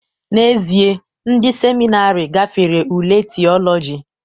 N'ezie, ndị seminarị gafere ule Theology